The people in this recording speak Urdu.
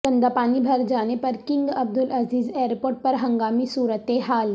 گندہ پانی بھرجانے پر کنگ عبدالعزیز ایئرپورٹ پر ہنگامی صورتحال